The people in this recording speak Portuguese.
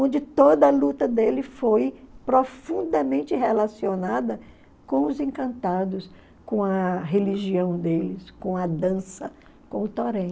onde toda a luta dele foi profundamente relacionada com os encantados, com a religião deles, com a dança, com o torém.